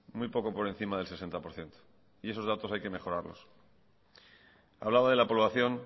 muy poco por encima del sesenta por ciento y esos datos hay que mejorarlos hablaba de la población